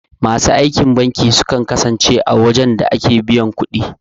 Masu aikin banki sukan kasance a wurin da ake biyan ƙudi